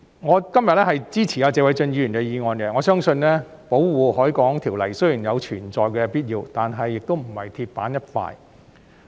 我支持謝偉俊議員今天提出的議案，我相信《保護海港條例》雖然有存在的必要，但亦不是鐵板一塊。